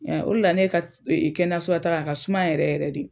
Olu de la ne ka kɛnɛyaso la taaga a ka suma yɛrɛ yɛrɛ de.